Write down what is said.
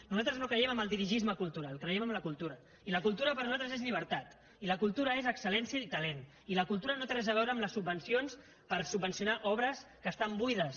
nosaltres no creiem en el dirigisme cultural creiem en la cultural i la cultura per a nosaltres és llibertat i la cultura és exceli la cultura no té res a veure amb les subvencions per subvencionar obres que estan buides